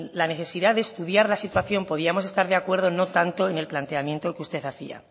la necesidad de estudiar la situación podíamos estar de acuerdo no tanto en el planteamiento que usted hacía